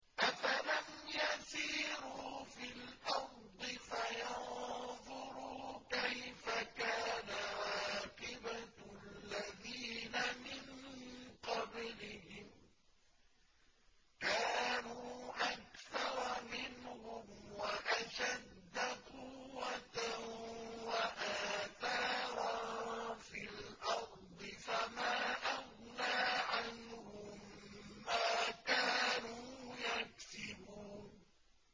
أَفَلَمْ يَسِيرُوا فِي الْأَرْضِ فَيَنظُرُوا كَيْفَ كَانَ عَاقِبَةُ الَّذِينَ مِن قَبْلِهِمْ ۚ كَانُوا أَكْثَرَ مِنْهُمْ وَأَشَدَّ قُوَّةً وَآثَارًا فِي الْأَرْضِ فَمَا أَغْنَىٰ عَنْهُم مَّا كَانُوا يَكْسِبُونَ